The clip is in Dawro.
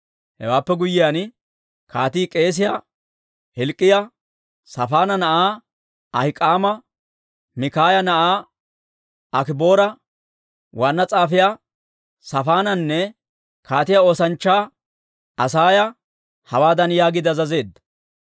Hewaappe guyyiyaan, kaatii k'eesiyaa Hilk'k'iyaa, Saafaana na'aa Ahik'aama, Mikaaya na'aa Akiboora, waanna s'aafiyaa Saafaananne kaatiyaa oosanchchaa Asaaya hawaadan yaagiide azazeedda;